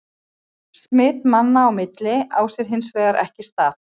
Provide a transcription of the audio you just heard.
Smit manna á milli á sér hins vegar ekki stað.